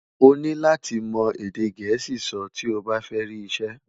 oní láti mọ èdè gèésì sọ ti ọ bá fẹ ri isẹ